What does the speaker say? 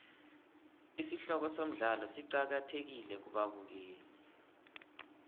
isihloko somdlalo siqakathekile kubabukeli